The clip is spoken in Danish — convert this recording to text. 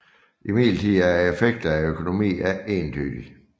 Imidlertid er effekten af økonomi ikke entydig